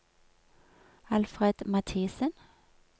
Alfred Mathisen